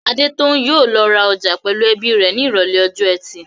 Adetoun yóò lọ ra ọjà pẹ̀lú ẹbí rẹ̀ ní Ìrọ̀lẹ́ ọjọ́ ẹtì.